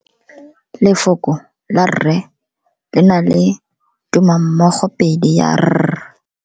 Lefoko la rre le na le tumammogopedi ya r.